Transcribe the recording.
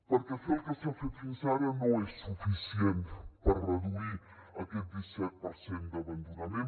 perquè fer el que s’ha fet fins ara no és suficient per reduir aquest disset per cent d’abandonament